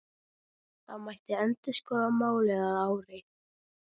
Það mætti endurskoða málið að ári.